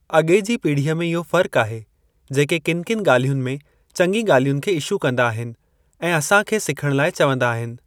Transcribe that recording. अॻे जी पीढ़ीअ में इहो फ़र्क आहे जेके किन किन ॻाल्हियुनि में चंङी ॻाल्हियुनि खे इशू कंदा आहिनि ऐं असां खे सिखण लाइ चवंदा आहिनि।